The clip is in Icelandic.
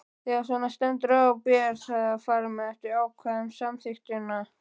Þegar svona stendur á ber að fara eftir ákvæðum samþykktanna.